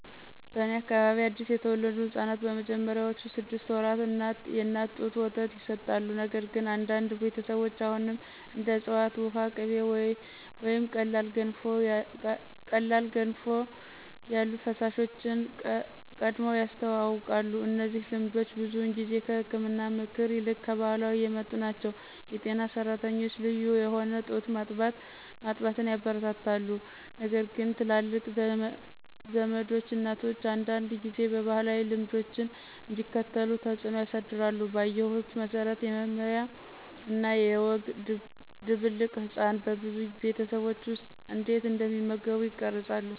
በእኔ አካባቢ አዲስ የተወለዱ ሕፃናት በመጀመሪያዎቹ ስድስት ወራት የእናት ጡት ወተት ይሰጣሉ፣ ነገር ግን አንዳንድ ቤተሰቦች አሁንም እንደ ዕፅዋት ውሃ፣ ቅቤ ወይም ቀላል ገንፎ ያሉ ፈሳሾችን ቀድመው ያስተዋውቃሉ። እነዚህ ልምዶች ብዙውን ጊዜ ከህክምና ምክር ይልቅ ከባህላዊ የመጡ ናቸው. የጤና ሰራተኞች ልዩ የሆነ ጡት ማጥባትን ያበረታታሉ ነገርግን ትላልቅ ዘመዶች እናቶች አንዳንድ ጊዜ ባህላዊ ልምዶችን እንዲከተሉ ተጽዕኖ ያሳድራሉ. ባየሁት መሰረት፣ የመመሪያ እና የወግ ድብልቅ ህጻናት በብዙ ቤተሰቦች ውስጥ እንዴት እንደሚመገቡ ይቀርጻሉ።